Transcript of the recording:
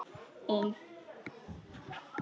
Um allt annað má tala.